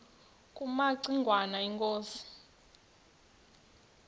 kumaci ngwana inkosi